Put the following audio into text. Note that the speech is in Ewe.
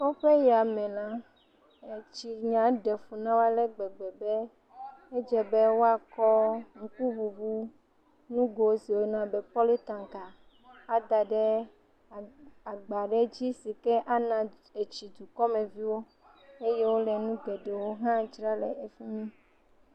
Kɔƒe ya me la, etsi nya ɖe na wo ale gbegbe be edze be woakɔ ŋkuŋuŋu nugo si woyɔna be pɔlitanka ada ɖe agba ɖe dzi si ke ana tsi dukɔmeviwo eye wole nu geɖewo hã dzra le fi mi.